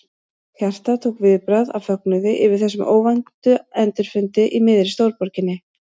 Hjartað tók viðbragð af fögnuði yfir þessum óvænta endurfundi í miðri stórborginni.